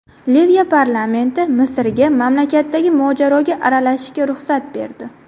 Liviya parlamenti Misrga mamlakatdagi mojaroga aralashishga ruxsat berdi.